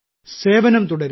സേവനം തുടരുക